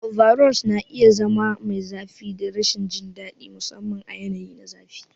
Overalls na iya zama mai zafi da rashin jin daɗi, musamman a yanayin zafi.